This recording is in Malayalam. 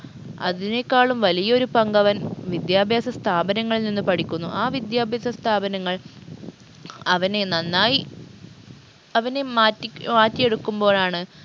അതിനേക്കാളും വലിയൊരു പങ്കവൻ വിദ്യാഭ്യാസ സ്ഥാപനങ്ങളിൽ നിന്ന് പഠിക്കുന്നു ആ വിദ്യാഭ്യാസ സ്ഥാപനങ്ങൾ അവനെ നന്നായി അവനെ മാറ്റി മാറ്റിയെടുക്കുമ്പോഴാണ്